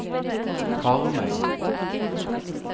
Karmøy